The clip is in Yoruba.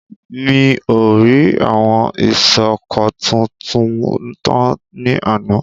Mi ò rí àwọn iṣọ́kọ̀tu tu tán ní àná.